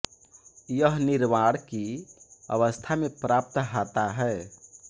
यह निर्वाण की अवस्था में प्राप्त हाता है